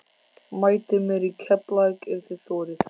Mætið mér í Keflavík ef þið þorið!